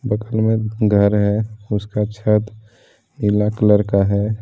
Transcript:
में घर है उसका छत नीला कलर का है।